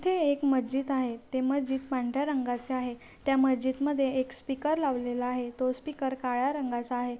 ते एक मस्जिद आहे ते मस्जिद पांढऱ्या रंगाचे आहे त्या मस्जिद मध्ये एक स्पीकर लावलेला आहे तो स्पीकर काळ्या रंगाचा आहे.